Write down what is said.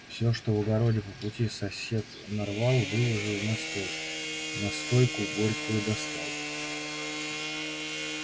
всё что в огороде по пути сосед нарвал выложил на стол настойку горькую достал